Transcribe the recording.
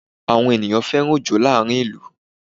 Àwọn ènìyàn fẹ́ràn Òjó láàrin ìlú